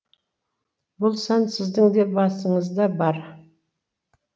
бұл сан сіздің де басыңыз да бар